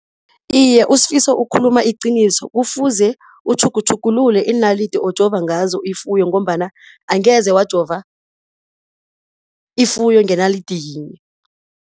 Iye, uSifiso ukhuluma iqiniso. Kufuze utjhugutjhugulule iinalidi ojova ngazo ifuyo ngombana angeze wajova ifuyo ngenalidi yinye.